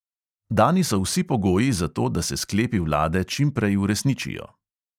Dani so vsi pogoji za to, da se sklepi vlade čim prej uresničijo.